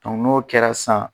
N'o kɛra san